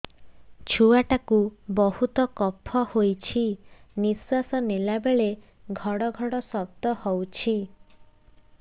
ଛୁଆ ଟା କୁ ବହୁତ କଫ ହୋଇଛି ନିଶ୍ୱାସ ନେଲା ବେଳେ ଘଡ ଘଡ ଶବ୍ଦ ହଉଛି